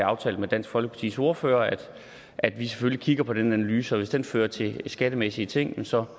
aftalt med dansk folkepartis ordfører at at vi selvfølgelig kigger på den analyse og hvis den fører til skattemæssige ting så